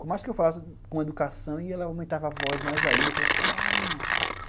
Por mais que eu falasse com educação, e ela aumentava a voz mais ainda, eu falava, calma.